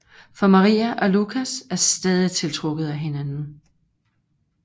For Maria og Lucas er stadig tiltrukket af hinanden